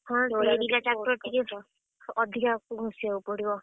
ହଁ ସେ ଦିଟା ଅଧିକା ଘୋଷିଆକୁ ପଡିବ।